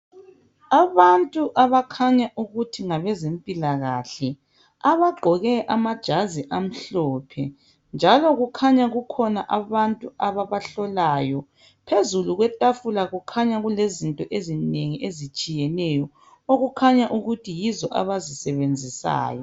Abantu abakhanya ukuthi ngabezempilakahle abagqoke amajazi amhlophe. Njalo kukhanya kukhona abantu ababahlolayo , phezulu kwetafula kukhanya kulezinto ezinengi ezitshiyeneyo, okukhanya ukuthi yizo abazisebenzisayo.